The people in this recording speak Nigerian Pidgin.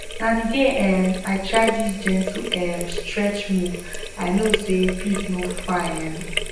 na the day um i try this gentle um stretch move i know say peace no far um